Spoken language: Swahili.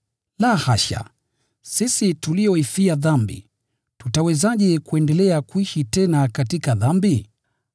La hasha! Sisi tulioifia dhambi, tutawezaje kuendelea kuishi tena katika dhambi?